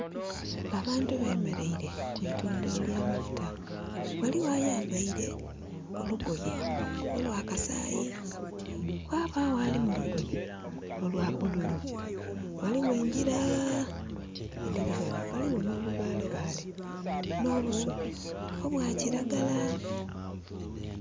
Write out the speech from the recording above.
Abantu bemeleire ku itundhiro lya amafuta. Ghaligho ayambaile olugoye olwa kasaayi. Ghabagho ali mu lugoye olwa bululu. Ghaligho engira, edhiri ghano. Ghaligho n'obubaale baale, n'obusubi obwa kiragala.